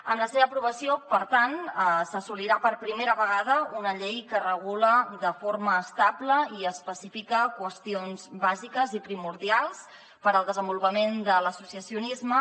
amb la seva aprovació per tant s’assolirà per primera vegada una llei que regula de forma estable i específica qüestions bàsiques i primordials per al desenvolupament de l’associacionisme